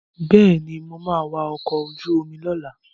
Bẹ́ẹ̀ni, mo ma wa ọkọ̀ ojú omi lọ́la